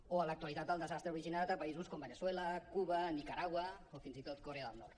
o a l’actualitat el desastre originat a països com veneçuela cuba nicaragua o fins i tot corea del nord